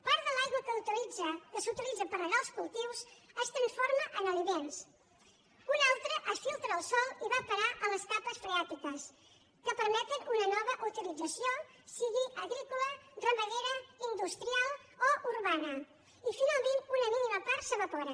part de l’aigua que s’utilitza per regar els cultius es transforma en aliments una altra es filtra al sòl i va a parar a les capes freàtiques que permeten una nova utilització sigui agrícola ramadera industrial o urbana i finalment una mínima part s’evapora